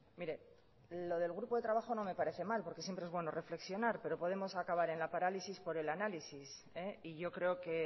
mire lo del grupo de trabajo no me parece mal porque siempre es bueno reflexionar pero podemos acabar en la parálisis por el análisis y yo creo que